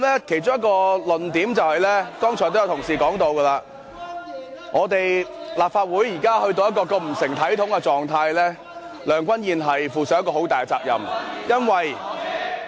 其中一個論點，剛才也有同事提到，立法會現時到了如此不成體統的狀態，梁君彥要負上很大的責任。